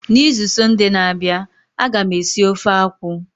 N'izu sọnde na-abịa, a ga m esi ofe akwụ.